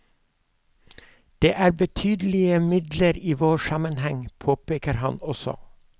Det er betydelige midler i vår sammenheng, påpeker han også.